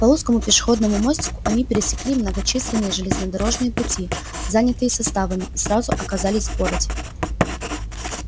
по узкому пешеходному мостику они пересекли многочисленные железнодорожные пути занятые составами и сразу оказались в городе